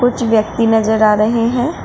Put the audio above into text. कुछ व्यक्ति नजर आ रहे हैं।